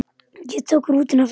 Ég tók rútuna aftur til